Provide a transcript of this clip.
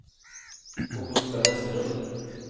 Augusta Vesterlund